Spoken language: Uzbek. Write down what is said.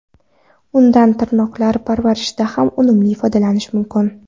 Undan tirnoqlar parvarishida ham unumli foydalanish mumkin.